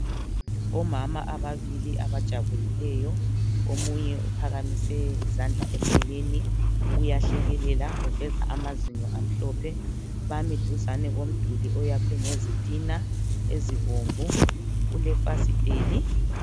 Omama ababili abajabulileyo omunye uphakamise izandla emoyeni uyahlekelela uveza amazinyo amhlophe bami duzane komduli oyakwe ngezitina ezibomvu kulefasiteli.